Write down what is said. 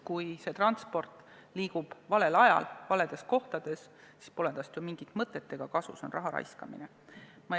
Kui ühissõidukid liiguvad valel ajal ja valedes kohtades, siis pole neist ju mingit kasu, see on raha raiskamine.